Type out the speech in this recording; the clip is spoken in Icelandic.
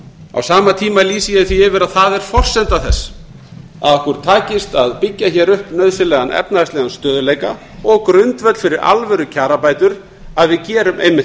á sama tíma lýsi ég því yfir að það er forsenda þess að okkur takist að byggja hér upp efnahagslegan stöðugleika og grundvöll fyrir alvörukjarabætur að við gerum einmitt